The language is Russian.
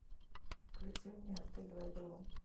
включи мне отель вавилон